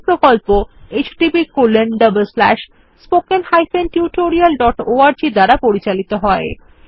এই প্রকল্প httpspoken tutorialorg দ্বারা পরিচালিত হয়